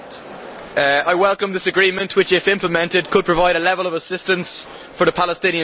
I welcome this agreement which, if implemented, could provide a level of assistance for the Palestinian people.